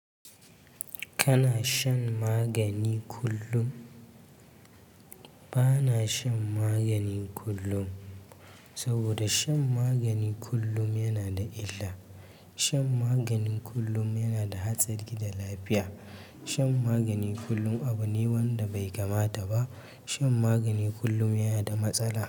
Kana shan magani kullum? Ba na shan magani kullum. Saboda shan magani kullum yana da illa. Shan magani kullum yana da hatsari ga lafiya. Shan magani kullum abu ne wanda bai kamata ba. Shan magani kullum yana da matsala.